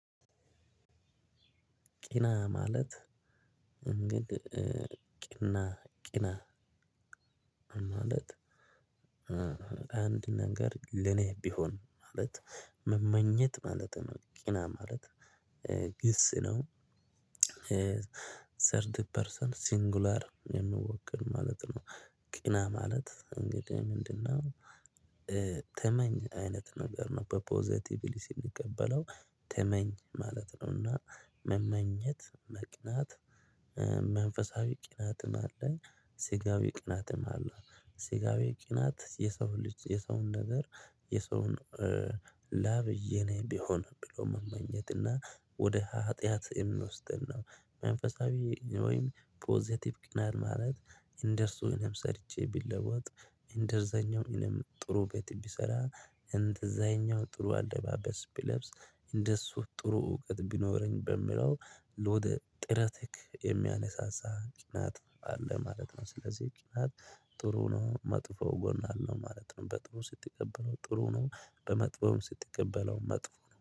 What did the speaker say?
ቂና ማለት እንግዲህ ቂና ቂና ማለት አንድ ነገር ለኔ ቢሆን ማለት መመኘት ማለት ነው ቅና ማለት ግስ ነው። ሰርቲ ፐርሰንት ሲንጉላር የሚወከል ማለት ነው። ቅና ማለት እንግዲህ ምንድነው ተመኝ አይነት ነገር ነው በፖዘቲቭሊ ስንቀበለው ተመኝ ማለት ነው። መመኘት፣ መቅናት መንፈሳዊ ቅናትም አለኝ። ስጋዊ ቅናትም አለ። ስጋዊ ቅናት የሰው ልጅ የሰውን ነገር የሰውን ላብ የኔ ቢሆን ብሎ መመኘትና ወደ ሀጥያት የሚወስደን ነው። መንፈሳዊ ወይም ፖዘቲቭ ቅናት ማለት እንደርሱ እኔም ሰርቼ ብለወጥ እንደዛኛው እኔም ጥሩ ቤት ብሰራ፣ እንደዛኛው ጥሩ አለባበስ ብለብስ፣ እንደሱ ጥሩ እውቀት ቢኖረኝ በምለው ወደ ጥረት የሚያነሳሳ ቀናት አለ ማለት ነው። ስለዚህ ቅናት ጥሩ ነው። መጥፎ ጎን አለው ማለት ነው። በጥሩ ስትቀበለው ጥሩ ነው። በመጥፎም ስትቀበለው መጥፎ